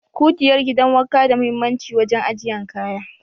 Kugiyar gidan wanka da muhimmanci wajen ajiyan kaya.